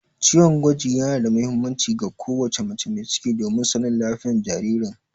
Ciwon gwaji yana da muhimmanci ga ko wace mai ciki domin sanin lafiyar jaririn.